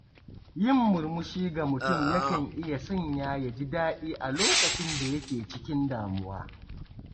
Yin murmushi ga mutum yakan iya sanya ya ji daɗi a lokacin da yake cikin damuwa.